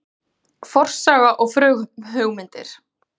FORSAGA OG FRUMHUGMYNDIR